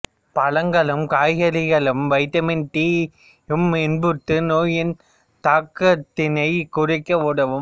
பழங்களும் காய்கறிகளும் vitamin D யும் இப்புற்று நோயின் தாக்கத்தினை குறைக்க உதவும்